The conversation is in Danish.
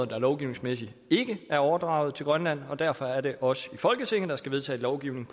der lovgivningsmæssigt ikke er overdraget til grønland og derfor er det os i folketinget der skal vedtage lovgivningen